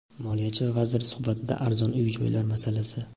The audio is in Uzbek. Moliyachi va vazir suhbatida arzon uy-joylar masalasi.